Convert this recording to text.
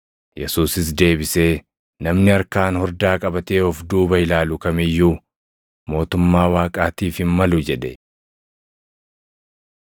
Yesuusis deebisee, “Namni harkaan hordaa qabatee of duuba ilaalu kam iyyuu mootummaa Waaqaatiif hin malu” jedhe.